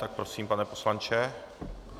Tak prosím, pane poslanče.